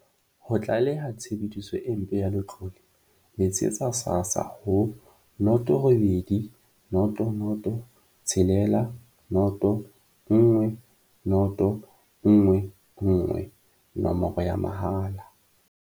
Ho tlaleha tshebediso e mpe ya letlole, letsetsa SASSA ho 0800 60 10 11, nomoro ya mahala.